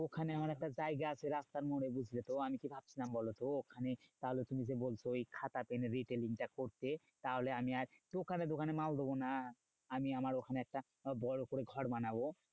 ওখানে আমার একটা জায়গা আছে রাস্তার মোরে বুঝলে তো? আমি কি ভাবছিলাম বলতো? ওখানে তাহলে তুমি যে বলছো ওই খাতা পেনের retailing টা করতে, তাহলে আমি আর দোকানে দোকানে মাল দেব না। আমি আমার ওখানে একটা বড় করে ঘর বানাবো।